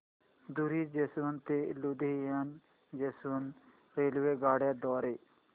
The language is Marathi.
धुरी जंक्शन ते लुधियाना जंक्शन रेल्वेगाड्यां द्वारे